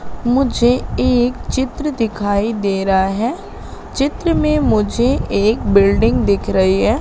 मुझे एक चित्र दिखाई दे रहा है। चित्र में मुझे एक बिल्डिंग दिख रही है।